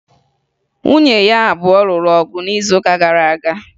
Nwunye ya abụọ lụrụ ọgụ n'izuụka gara aga